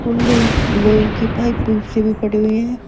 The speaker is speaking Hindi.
पुल्ली लोहे की पाइप पूल सी भी पड़ी हुइ हैं।